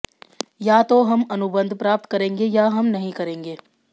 या तो हम अनुबंध प्राप्त करेंगे या हम नहीं करेंगे